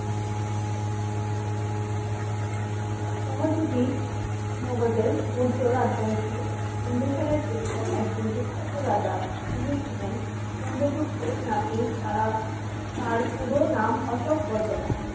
সহযোগে মগধের মৌর্য রাজবংশের বিন্দুসারের পুত্র একজন বিখ্যাত রাজা তিনি ছিলেন চন্দ্রগুপ্তের নাতি তারা তার পুরো নাম অশো ক বর্তমান